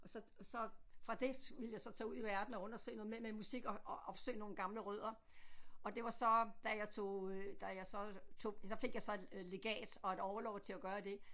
Og så så fra det ville jeg så tage ud i verden og undersøge noget med med musik og og opsøge nogle gamle rødder og det var så da jeg tog da jeg så tog der fik jeg så legat og et orlov til at gøre det